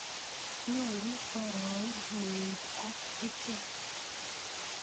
Nyoru poroin mweik ak ichek.